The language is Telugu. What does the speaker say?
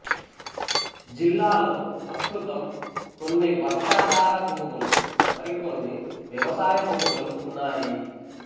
జిల్లాలో ప్రస్తుతం కొన్ని వర్షాధార భూములు మరికొన్ని వ్యవసాయ భూములు ఉన్నాయి